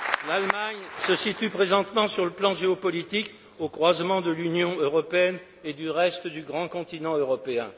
L'Allemagne se situe présentement, sur le plan géopolitique, au croisement de l'Union européenne et du reste du grand continent européen.